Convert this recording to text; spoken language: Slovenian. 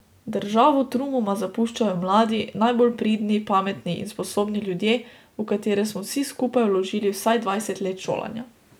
Državo trumoma zapuščajo mladi, najbolj pridni, pametni in sposobni ljudje, v katere smo vsi skupaj vložili vsaj dvajset let šolanja.